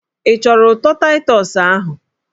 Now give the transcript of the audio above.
Ị chọrọ ụtọ Taịtọs ahụ?